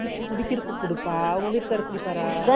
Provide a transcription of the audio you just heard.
மோர்அடிச்சுகுடிக்கறதுக்குடுப்பா உங்க விட்டுகாறாரு குடிப்பார